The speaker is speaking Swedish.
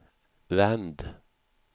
vänd